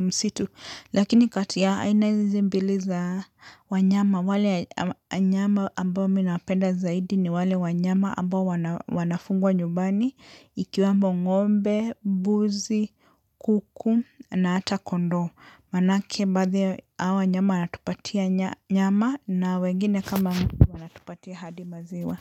msitu, lakini kati ya aina hizi mbili za wanyama, wale wanyama ambao mimi napenda zaidi ni wale wanyama ambao wanafugwa nyumbani, ikiwemo ngombe, mbuzi, kuku na hata kondoo. Maanake baadhi ya hawa wanyama wanatupatia nyama na wengine kama wanatupatia hadi maziwa.